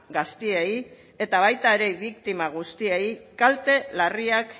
gazteei eta baita ere biktima guztiei kalte larriak